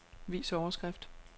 Vis overskrift.